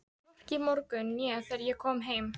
Hvorki í morgun né þegar ég kom heim.